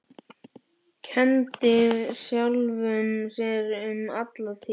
Kenndi sjálfum sér um alla tíð.